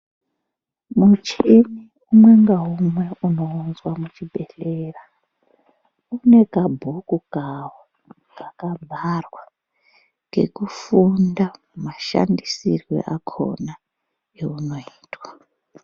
Muchini umwe ngaumwe unounzwa muchibhehlera unekabhuku kavo kakavharwa kekufunda mashandisirwe akona eunoitwa.